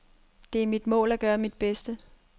Det er mit mål, at gøre mit bedste.